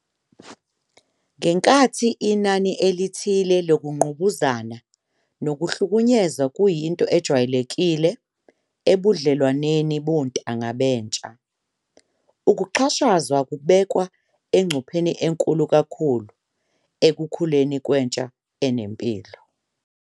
Ngenkathi inani elithile lokungqubuzana nokuhlukunyezwa kuyinto ejwayelekile ebudlelwaneni bontanga bentsha, ukuxhashazwa kubeka engcupheni enkulu kakhulu ekukhuleni kwentsha enempilo.